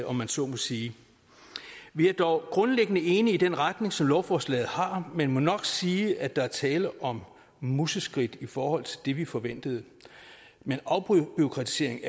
om man så må sige vi er dog grundlæggende enige i den retning som lovforslaget har men må nok sige at der er tale om museskridt i forhold til det vi forventede men afbureaukratisering